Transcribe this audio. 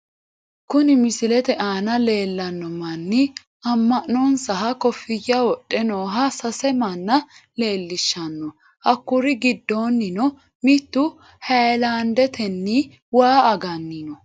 kuni misilete aana leellanno manni amma'nonsaha kofiyya wodhe nooha sase manna leellishshanno , hakkuri giddonnino mittu hayiilaandetenni waa aganni no.